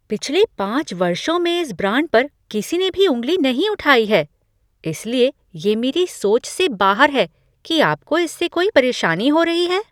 पिछले पाँच वर्षों में इस ब्रांड पर किसी ने भी उँगली नहीं उठाई है, इसलिए ये मेरी सोच से बाहर है कि आपको इससे कोई परेशानी हो रही है।